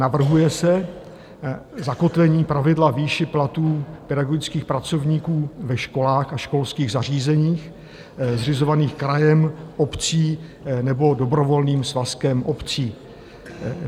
Navrhuje se zakotvení pravidla výše platů pedagogických pracovníků ve školách a školských zařízeních zřizovaných krajem, obcí nebo dobrovolným svazkem obcí.